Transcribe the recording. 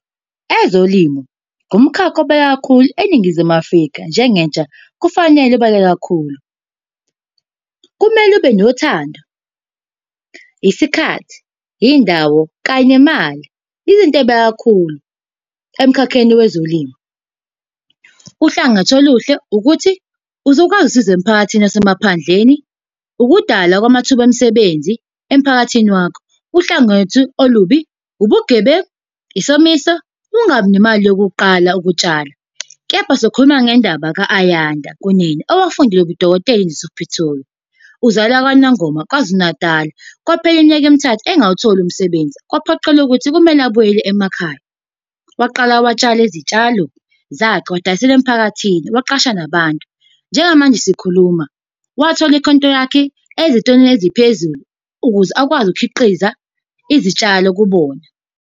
Ezolimo, ngumkhakha obaluleke kakhulu eNingizimu Afrika njengentsha kufanele ubaluleke kakhulu. Kumele ube nothando, isikhathi, iy'ndawo kanye nemali, izinto ey'baluleke kakhulu emkhakheni wezolimo. Uhlangothi oluhle ukuthi uzokwazi ukusiza emphakathini yasemaphandleni, ukudalwa kwamathuba emisebenzi emphakathini wakho. Uhlangothi olubi, ubugebengu, isomiso, ukungabi nemali yokuqala ukutshala. Kepha sokhuluma ngendaba ka-Ayanda Kunene owafundela ubudokotela e-University of Pretoria. Uzalwa kwaNongoma KwaZulu Natal. Kwaphela iminyaka emithathu engawutholi umsebenzi, kwaphoqeleka ukuthi kumele abuyele emakhaya. Waqala watshala izitshalo zakhe, way'dayisela emphakathini, waqasha nabantu. Njengamanje sikhuluma, wathola ikhontilakhi ezitolo eziphezulu ukuze akwazi ukukhiqiza izitshalo kubona.